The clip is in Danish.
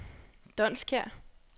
Donskær